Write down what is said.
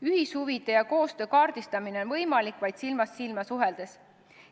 Ühishuvide ja koostöö kaardistamine on võimalik vaid silmast silma suheldes.